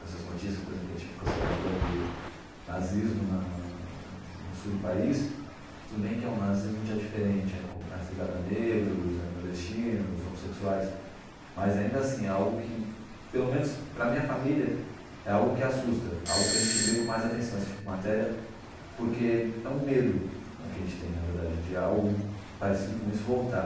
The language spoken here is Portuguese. Essas notícias, por exemplo, que a gente ficou sabendo agora de nazismo na no sul do país, tudo bem que é um nazismo já diferente, é com mais ligado a negros, nordestinos, homossexuais, mas ainda assim é algo que, pelo menos para a minha família, é algo que assusta, algo que a gente lê com mais atenção esse tipo de matéria, porque é um medo que a gente tem, na verdade, de algo parecido com isso voltar.